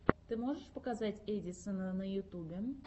ты можешь показать эдисона на ютюбе